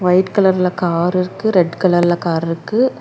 White கலர்ல car இருக்கு red கலர்ல கார்ருக்கு .